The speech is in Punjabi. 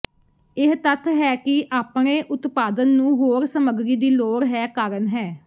ਇਹ ਤੱਥ ਹੈ ਕਿ ਆਪਣੇ ਉਤਪਾਦਨ ਨੂੰ ਹੋਰ ਸਮੱਗਰੀ ਦੀ ਲੋੜ ਹੈ ਕਾਰਨ ਹੈ